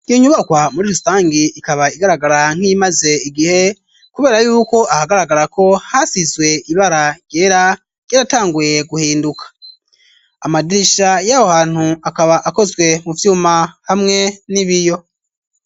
Iyo nyubakwa muri rusangi ikaba igaragara nk'imaze igihe kubera yuko ahagaragara ko hasizwe ibara byera byeratanguye guhinduka amadirisha y'aho hantu akaba akozwe mu vyuma hamwe n'ibiyo.